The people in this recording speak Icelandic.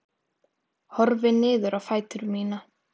Horfi niður á fætur mína.